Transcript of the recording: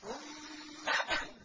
ثُمَّ